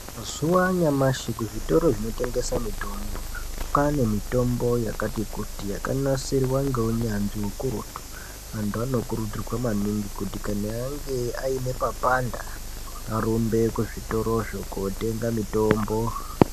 Zuwa anyamashi kuzvitoro zvinotengese mitombo kwaane mitombo yakati kuti yakanasirwa ngeunyanzvi ukurutu antu anokurudzirwa maningi kuti kana ange aine papanda arumbe kuzvitorozvo kotenga mitombo.